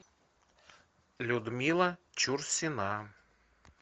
людмила чурсина